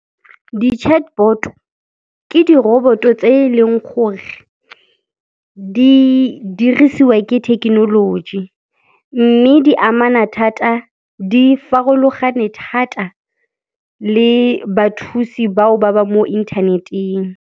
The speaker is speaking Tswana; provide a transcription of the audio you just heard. Di chatbot ke di roboto tse eleng gore di dirisiwa ke thekenoloji mme di farologane thata le bathusi bao ba ba mo internet-eng.